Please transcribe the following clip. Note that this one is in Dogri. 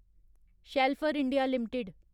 Schaeffler India limited